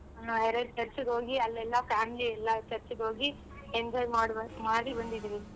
ಹ್ಮ್ ಎರಡ್ church ಗ್ ಹೋಗಿ ಅಲ್ಲೆಲ್ಲ family ಎಲ್ಲಾ church ಗ್ ಹೋಗಿ enjoy ಮಾಡ್~ ಮಾಡಿ ಬಂದಿದಿವಿ.